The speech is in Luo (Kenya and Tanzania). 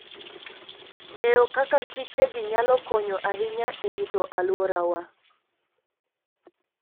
Ng'eyo kaka kichegi nyalo konyo ahinya e rito alworawa.